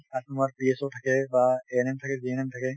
তাত তোমাৰ PSOInitial থাকে বা NMInitial থাকে, GNMInitial থাকে